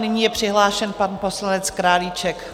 Nyní je přihlášen pan poslanec Králíček.